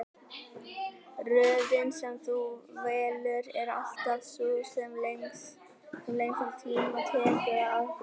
Röðin sem þú velur er alltaf sú sem lengstan tíma tekur að afgreiða.